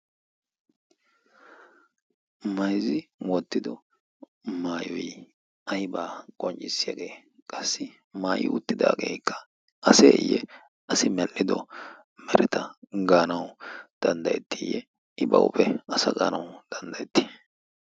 mayzzi woottido maayoy aybaa qonccissiyaagee qassi maayi uttidaageekka aseeyye asi malhhido mereta gaanau danddayettiiyye ba uuphe asa gaanau danddayettii